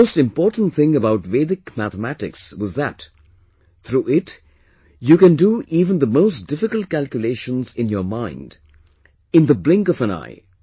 The most important thing about Vedic Mathematics was that through it you can do even the most difficult calculations in your mind in the blink of an eye